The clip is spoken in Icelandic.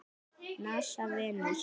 NASA- Venus.